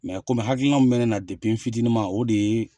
komi hakilina min bɛ na depi n fitinin ma o de ye